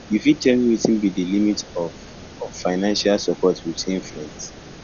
you fit tell me wetin be di limit of of financial support between friends